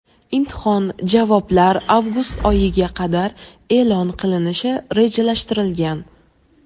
Imtihon javoblar avgust oyiga qadar e’lon qilinishi rejalashtirilgan.